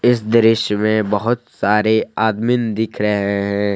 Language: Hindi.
इस दृश्य में बहोत सारे आदमीन दिख रहे हैं।